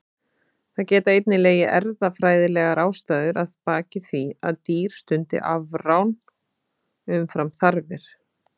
Það geta einnig legið erfðafræðilegar ástæður að baki því að dýr stundi afrán umfram þarfir.